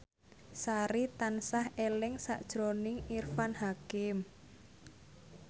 Sari tansah eling sakjroning Irfan Hakim